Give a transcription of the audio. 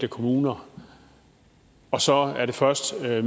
kommuner og så er det først medio